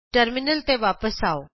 terminal ਤੇ ਵਾਪਸ ਆਉ